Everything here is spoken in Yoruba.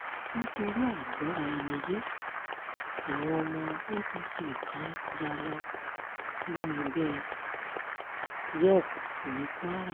nítorí àìgbọ́ra-ẹni-yé àwọn ọmọ apc kan yá lọ sínú ẹgbẹ́ yepp ní kwara